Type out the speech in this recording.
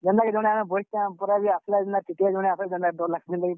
ଜେନ୍ତା କି ଜଣେ ଆମେ ବଇସ୍ ଛୁଁ। ପୁରା ବି ଆସଲେ TTE ଜଣେ ଆସ୍ ଲେ କେନ୍ତା ଡର୍ ଲାଗ୍ ସି।